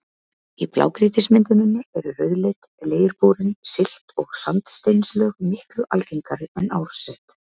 Í blágrýtismynduninni eru rauðleit, leirborin silt- og sandsteinslög miklu algengari en árset.